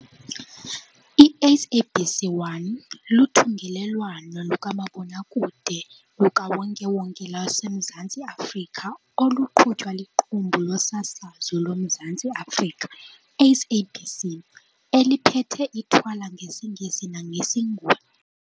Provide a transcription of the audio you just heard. I-SABC 1 luthungelwano lukamabonakude lukawonke-wonke lwaseMzantsi Afrika oluqhutywa liQumbu loSasazo loMzantsi Afrika, SABC, eliphethe ithwala ngesiNgesi nangesiNguni.